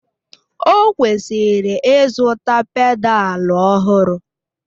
Ọ kwesịrị ịzụta pedalu ọhụrụ